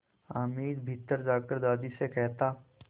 हामिद भीतर जाकर दादी से कहता